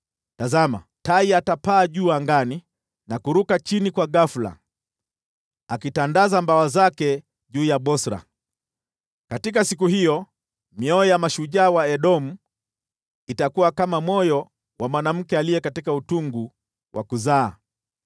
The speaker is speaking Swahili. Tazama! Tai atapaa juu angani na kuruka chini kwa ghafula, akitandaza mabawa yake juu ya Bosra. Katika siku hiyo, mioyo ya mashujaa wa Edomu itakuwa kama moyo wa mwanamke katika utungu wa kuzaa.